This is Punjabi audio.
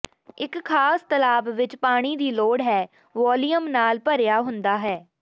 ਇੱਕ ਖਾਸ ਤਲਾਬ ਵਿਚ ਪਾਣੀ ਦੀ ਲੋੜ ਹੈ ਵਾਲੀਅਮ ਨਾਲ ਭਰਿਆ ਹੁੰਦਾ ਹੈ